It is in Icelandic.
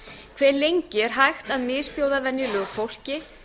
hve lengi er hægt að misbjóða venjulegu fólki